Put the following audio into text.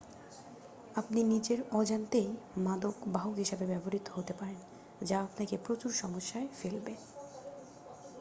আপনি নিজের অজান্তেই মাদক বাহক হিসাবে ব্যবহৃত হতে পারেন যা আপনাকে প্রচুর সমস্যায় ফেলবে